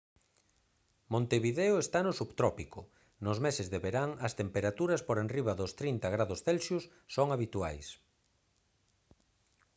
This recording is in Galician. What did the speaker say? montevideo está no subtrópico; nos meses de verán as temperaturas por enriba dos +30 °c son habituais